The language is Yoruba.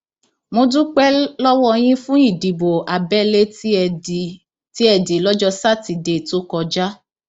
mo dúpẹ lọwọ yín fún ìdìbò abẹlé tí ẹ dì lọjọ sátidé tó kọjá